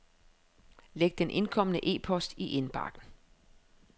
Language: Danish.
Læg den indkomne e-post i indbakken.